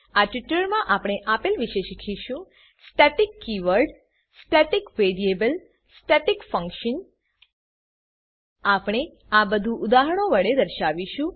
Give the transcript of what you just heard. આ ટ્યુટોરીયલમાં આપણે આપેલ વિશે શીખીશું static keyword static keyword static variable static variable static function static function આપણે આ બધું ઉદાહરણો વડે દર્શાવીશું